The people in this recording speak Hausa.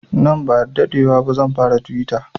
Nan ba sa daɗewa ba zan fara tuwita